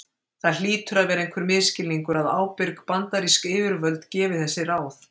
Það hlýtur að vera einhver misskilningur að ábyrg bandarísk yfirvöld gefi þessi ráð.